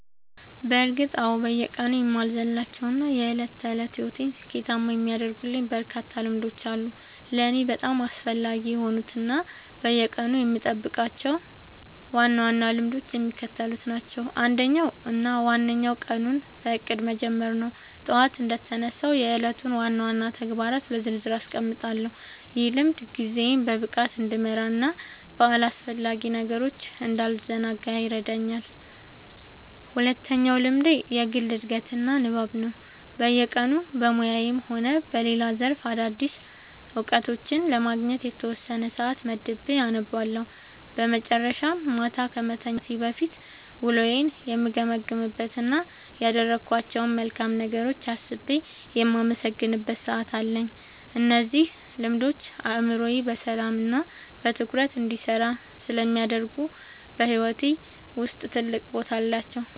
በእርግጥ አዎ፤ በየቀኑ የማልዘልላቸው እና የዕለት ተዕለት ሕይወቴን ስኬታማ የሚያደርጉልኝ በርካታ ልምዶች አሉ። ለእኔ በጣም አስፈላጊ የሆኑት እና በየቀኑ የምጠብቃቸው ዋና ዋና ልምዶች የሚከተሉት ናቸው፦ አንደኛው እና ዋነኛው ቀኑን በእቅድ መጀመር ነው። ጠዋት እንደተነሳሁ የዕለቱን ዋና ዋና ተግባራት በዝርዝር አስቀምጣለሁ፤ ይህ ልምድ ጊዜዬን በብቃት እንድመራና በአላስፈላጊ ነገሮች እንዳልዘናጋ ይረዳኛል። ሁለተኛው ልምዴ የግል ዕድገትና ንባብ ነው፤ በየቀኑ በሙያዬም ሆነ በሌላ ዘርፍ አዳዲስ እውቀቶችን ለማግኘት የተወሰነ ሰዓት መድቤ አነባለሁ። በመጨረሻም፣ ማታ ከመተኛቴ በፊት ውሎዬን የምገመግምበት እና ያደረግኳቸውን መልካም ነገሮች አስቤ የማመሰግንበት ሰዓት አለኝ። እነዚህ ልምዶች አእምሮዬ በሰላምና በትኩረት እንዲሰራ ስለሚያደርጉ በሕይወቴ ውስጥ ትልቅ ቦታ አላቸው።"